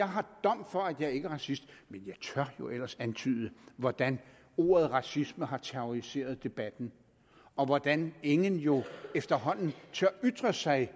har dom for at jeg ikke er racist men jeg tør jo ellers antyde hvordan ordet racisme har terroriseret debatten og hvordan ingen jo efterhånden tør ytre sig